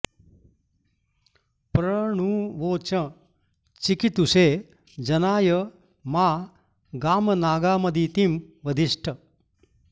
प्र णु॒ वोचं॑ चिकि॒तुषे॒ जना॑य॒ मा गामना॑गा॒मदि॑तिं वधिष्ट